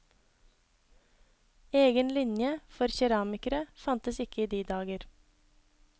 Egen linje for keramikere fantes ikke i de dager.